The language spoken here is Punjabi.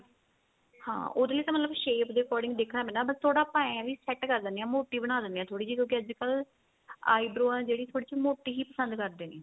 ਹਾਂ ਉਹਦੇ ਲਈ shape ਦੇ according ਦੇਖਣਾ ਪੈਂਦਾ ਬੱਸ ਥੋੜਾ ਆਪਣਾ ਇਹ ਏ ਵੀ set ਕ਼ਰ ਲੈਂਦੇ ਆ ਮੋਟੀ ਬਣਾ ਲੈਦੇ ਆ ਥੋੜੀ ਜੀ ਕਿਉਂਕਿ ਅੱਜਕਲ eyebrow ਏ ਜਿਹੜੀ ਥੋੜੀ ਜੀ ਮੋਟੀ ਹੀ ਪਸੰਦ ਕਰਦੇ ਨੇ